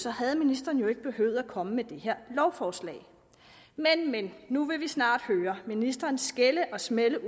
havde ministeren jo ikke behøvet at komme med det her lovforslag men men nu vil vi snart høre ministeren skælde og smælde